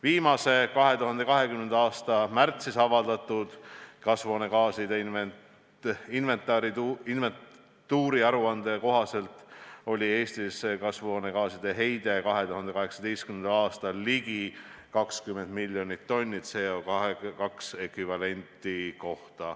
Viimase, 2020. aasta märtsis avaldatud kasvuhoonegaaside inventuuri aruande kohaselt oli 2018. aastal Eestis kasvuhoonegaaside heide ligi 20 miljonit tonni CO2 ekvivalenti.